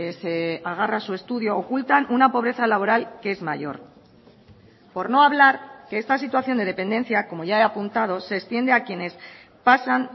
se agarra su estudio ocultan una pobreza laboral que es mayor por no hablar que esta situación de dependencia como ya he apuntado se extiende a quienes pasan